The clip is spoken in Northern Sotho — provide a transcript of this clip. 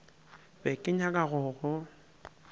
be ke nyaka go go